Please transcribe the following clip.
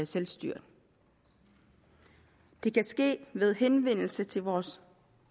selvstyret det kan ske ved henvendelse til vores